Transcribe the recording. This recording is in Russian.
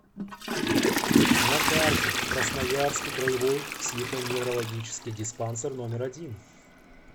на карте красноярский краевой психоневрологический диспансер номер один